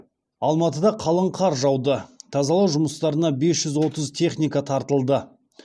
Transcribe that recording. алматыда қалың қар жауды тазалау жұмыстарына бес жүз отыз техника тартылды